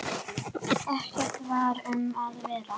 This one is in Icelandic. Ekkert var um að vera.